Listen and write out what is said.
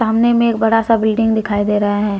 अमने में एक बड़ा सा बिल्डिंग दिखाई दे रहा है।